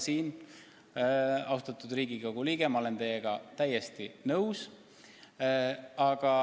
Selles osas, austatud Riigikogu liige, ma olen teiega täiesti nõus.